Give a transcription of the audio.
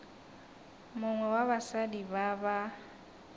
mongwe wa basadi ba ba